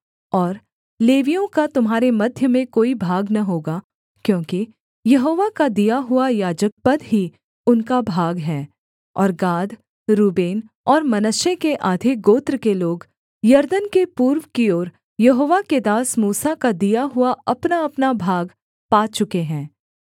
और लेवियों का तुम्हारे मध्य में कोई भाग न होगा क्योंकि यहोवा का दिया हुआ याजकपद ही उनका भाग है और गाद रूबेन और मनश्शे के आधे गोत्र के लोग यरदन के पूर्व की ओर यहोवा के दास मूसा का दिया हुआ अपनाअपना भाग पा चुके हैं